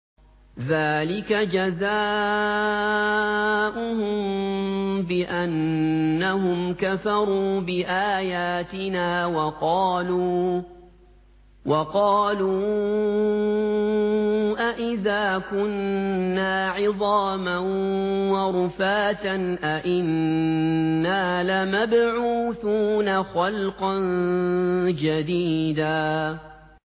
ذَٰلِكَ جَزَاؤُهُم بِأَنَّهُمْ كَفَرُوا بِآيَاتِنَا وَقَالُوا أَإِذَا كُنَّا عِظَامًا وَرُفَاتًا أَإِنَّا لَمَبْعُوثُونَ خَلْقًا جَدِيدًا